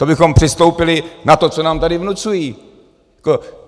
To bychom přistoupili na to, co nám tady vnucují.